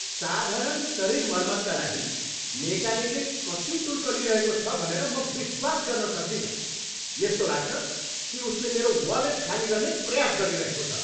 साधारण शरीर मर्मतका लागि मेकानिकले कति शुल्क लिइरहेको छ भनेर म विश्वास गर्न सक्दिन! यस्तो लाग्छ कि उसले मेरो वालेट खाली गर्ने प्रयास गरिरहेको छ।